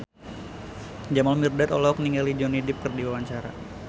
Jamal Mirdad olohok ningali Johnny Depp keur diwawancara